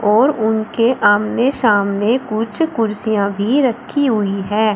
और उनके आमने सामने कुछ कुर्सियां भी रखी हुई है।